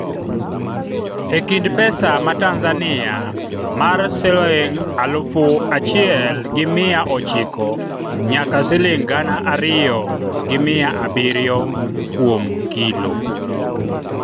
e kind mar pesa ma Tanzania mar shiling alufu achiel gi mia ochiko nyaka shiling gana ariyo gi mia abiriyo kuom kilo